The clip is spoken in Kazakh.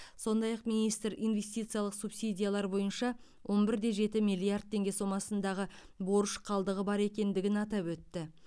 сондай ақ министр инвестициялық субсидиялар бойынша он бір де жеті миллиард теңге сомасындағы борыш қалдығы бар екендігін атап өтті